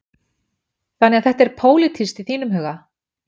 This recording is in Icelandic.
Þannig að þetta er pólitískt í þínum huga?